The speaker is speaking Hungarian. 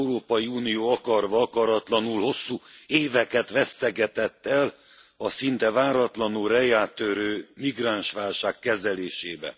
Az Európai Unió akarva akaratlanul hosszú éveket vesztegetett el a szinte váratlanul reá törő migránsválság kezelésében.